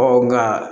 nka